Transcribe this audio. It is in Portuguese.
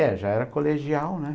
É, já era colegial, né?